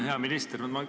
Hea minister!